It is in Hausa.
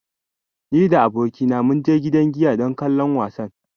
Ni da abokaina mun je gidan giya don kallon wasan.